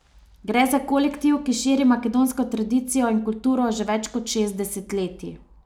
Gre za kolektiv, ki širi makedonsko tradicijo in kulturo že več kot šest desetletij.